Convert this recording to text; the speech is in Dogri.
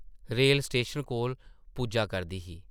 रेल स्टेशन कोल पुज्जा करदी ही ।